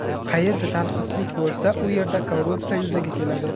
Qayerda tanqislik bo‘lsa, u yerda korrupsiya yuzaga keladi.